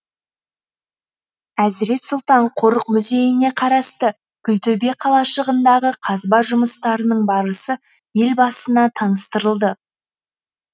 әзірет сұлтан қорық музейіне қарасты күлтөбе қалашығындағы қазба жұмыстарының барысы елбасына таныстырылды